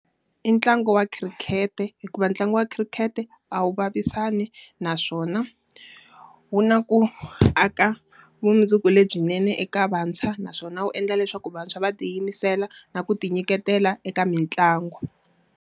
I ntlangu wa khirikhete. Hikuva ntlangu wa khirikhete a wu vavisani, naswona wu na ku aka vumundzuku lebyinene eka vantshwa. Naswona wu endla leswaku vantshwa va tiyimisela na ku ti nyiketela eka mitlangu.